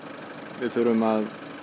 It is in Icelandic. við þurfum að